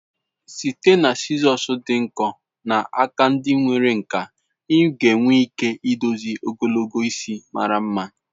Site na sizosị dị nkọ na aka ndi nwere nkà, ị ga-enwe ike idozi ogologo isi mara mma.